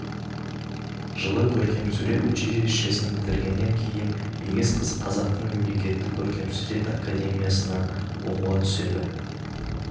жылы көркемсурет училищесін бітіргеннен кейін егіз қыз қазақтың мемлекеттік көркемсурет академиясына оқуға түседі